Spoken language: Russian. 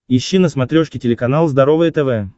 ищи на смотрешке телеканал здоровое тв